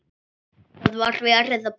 Það er verið að banka!